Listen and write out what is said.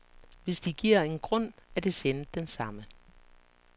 Hvis de giver en grund, er det sjældent den samme.